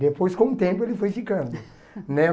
Depois, com o tempo, ele foi ficando. Né?